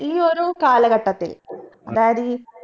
ഈ ഒരു കാലഘട്ടത്തിൽ അതായത് അതായത് ഈ